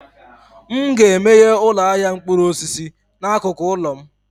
M ga-emeghe ụlọ ahịa mkpụrụ osisi n'akụkụ ụlọ m